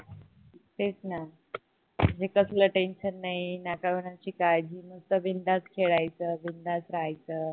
तेच न म्हणजे कसल tension नाही न कोणाची काळजी मस्त बिंदास खेळायचं बिंदास राहायचं